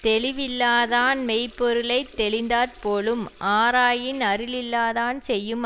தெளிவில்லாதான் மெய்ப்பொருளைத் தெளிந்தாற்போலும் ஆராயின்அருளில்லாதான் செய்யும்